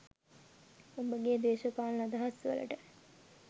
ඔබගේ දේශපාලන අදහස් වලට